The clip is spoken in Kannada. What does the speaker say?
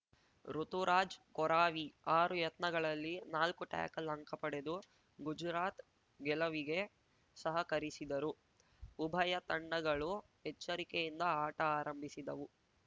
ಋುತುರಾಜ್‌ ಕೊರಾವಿ ಆರು ಯತ್ನಗಳಲ್ಲಿ ನಾಲ್ಕು ಟ್ಯಾಕಲ್‌ ಅಂಕ ಪಡೆದು ಗುಜುರಾತ್‌ ಗೆಲವಿಗೆ ಸಹಕರಿಸಿದರು ಉಭಯ ತಂಡಗಳು ಎಚ್ಚರಿಕೆಯಿಂದ ಆಟ ಆರಂಭಿಸಿದವು